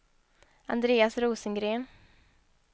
Andreas Rosengren